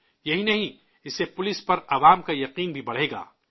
یہی نہیں، اس سے پولیس پر عوام کا اعتماد بھی بڑھے گا